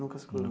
Nunca se curou.